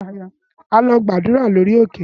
Á lọ gbàdúrà lórí òkè